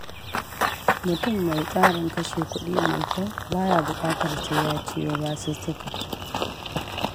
Mutum mai tsarin kashe kuɗi mai kyau, ba ya buƙatar sai ya ciwo basussuka.